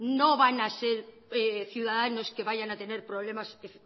no van a ser ciudadanos que vayan a tener problemas